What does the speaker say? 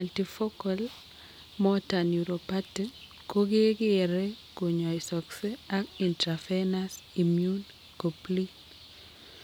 Multifocal motor neuropathy ko kekeree konyaisoksee ak intravenous immune goblin